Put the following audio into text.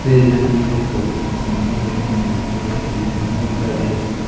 Page वेज की सारी पॉलिथीन पन्नीया कैसे निरमा कैसे चीजे रखी हुई दिखाई दे रही है।